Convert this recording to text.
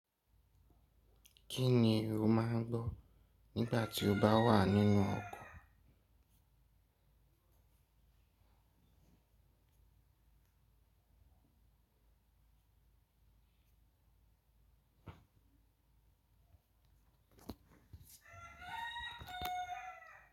Kí ni o máa ń gbọ́ nígbà tí o bá wà nínú ọkọ̀?